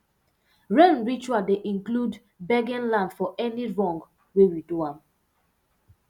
rain ritual dey include begging land for any wrong wey we do am